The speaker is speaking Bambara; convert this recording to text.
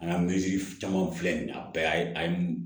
An ka caman filɛ nin ye a bɛɛ y'a ye